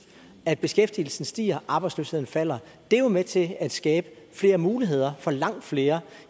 at beskæftigelsen stiger og arbejdsløsheden falder det er jo med til at skabe flere muligheder for langt flere